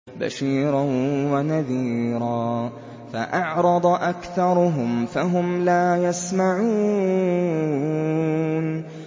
بَشِيرًا وَنَذِيرًا فَأَعْرَضَ أَكْثَرُهُمْ فَهُمْ لَا يَسْمَعُونَ